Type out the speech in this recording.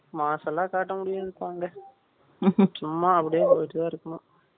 mass லாம் காட்ட முடியாதுப்பா இங்க சும்மா அப்படியே வந்துட்டு இருக்கனும்